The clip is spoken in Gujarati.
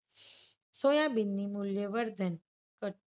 સોયાબીન ની મૂલ્યવર્ધન. પ